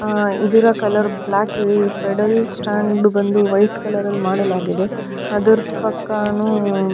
ಆ ಇದರ ಕಲರ್ ಬ್ಯ್ಲಾಕಿದೆ ಪೆಡಲ್ ಸ್ಟ್ಯಾಂಡ್ ಬಂದು ವೈಟ್ ಕಲರಲ್ಲಿ ಮಾಡಲಾಗಿದೆ ಅದರ ಪಕ್ಕಾನು --